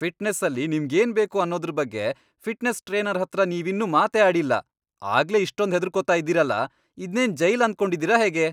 ಫಿಟ್ನೆಸ್ಸಲ್ಲಿ ನಿಮ್ಗೇನ್ ಬೇಕು ಅನ್ನೋದ್ರ್ ಬಗ್ಗೆ ಫಿಟ್ನೆಸ್ ಟ್ರೇನರ್ ಹತ್ರ ನೀವಿನ್ನೂ ಮಾತೇ ಆಡಿಲ್ಲ, ಆಗ್ಲೇ ಇಷ್ಟೊಂದ್ ಹೆದ್ರುಕೊತಾ ಇದೀರಲ! ಇದ್ನೇನ್ ಜೈಲ್ ಅನ್ಕೊಂಡಿದೀರ ಹೇಗೆ?!